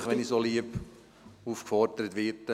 Selbstverständlich, wenn ich so lieb aufgefordert werde!